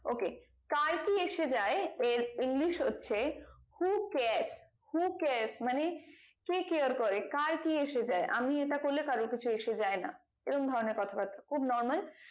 ok কার কি এসে যাই এর english হচ্ছে who care who care মানে কে care করে কার কি এসে যাই আমি এটা করলে কারোর কিছু এসে যাই না এরম ধরণের কথাবাত্রা খুব normal